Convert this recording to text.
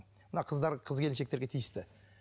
мына қыздар қыз келіншектерге тиісті